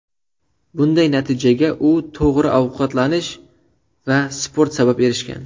Bunday natijaga u to‘g‘ri ovqatlanish va sport sabab erishgan.